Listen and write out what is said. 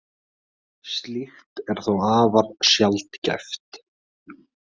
Slíkt er þó afar sjaldgæft.